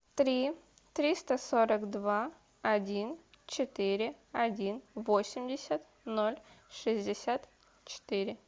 три триста сорок два один четыре один восемьдесят ноль шестьдесят четыре